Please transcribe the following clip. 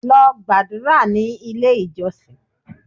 Lọ gàdúrà ní ilé ìjọsìn!